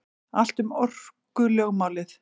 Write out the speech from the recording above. Allt um orkulögmálið.